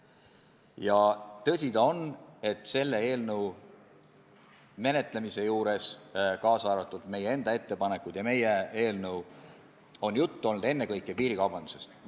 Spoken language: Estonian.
Ja tõsi ta on, et selle eelnõu menetlemisel ja ka meie erakonna eelnõu ja ettepanekute arutamisel on juttu olnud ennekõike piirikaubandusest.